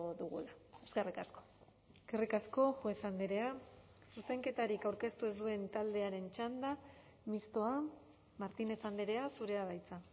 dugula eskerrik asko eskerrik asko juez andrea zuzenketarik aurkeztu ez duen taldearen txanda mistoa martínez andrea zurea da hitza